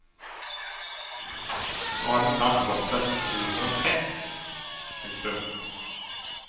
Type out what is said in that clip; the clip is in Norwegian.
Nå har den snart vokst seg så stor som en hest. punktum